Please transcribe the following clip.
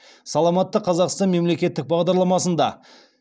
саламатты қазақстан мемлекеттік бағдарламасында